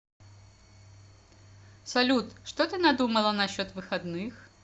салют что ты надумала насчет выходных